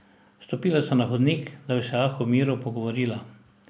Stopila sta na hodnik, da bi se lahko v miru pogovorila.